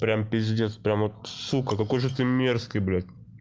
прямо пиздец прямо вот сука какой же ты мерзкий блядь